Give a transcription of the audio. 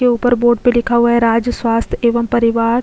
के ऊपर बोर्ड पर लिखा हुआ है राज्य स्वास्थ्य एवं परिवार --